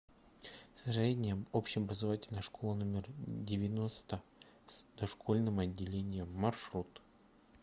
средняя общеобразовательная школа номер девяносто с дошкольным отделением маршрут